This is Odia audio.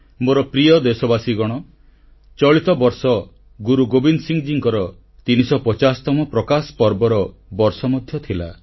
ମୋର ପ୍ରିୟ ଦେଶବାସୀଗଣ ଚଳିତବର୍ଷ ଗୁରୁ ଗୋବିନ୍ଦ ସିଂଙ୍କର 350ତମ ପ୍ରକାଶ ପର୍ବର ବର୍ଷ ମଧ୍ୟ ଥିଲା